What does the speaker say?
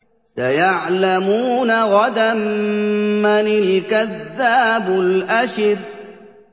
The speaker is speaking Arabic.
سَيَعْلَمُونَ غَدًا مَّنِ الْكَذَّابُ الْأَشِرُ